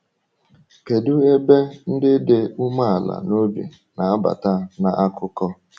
Kedu ebe ndị dị umeala n’obi na-abata n’akụkọ?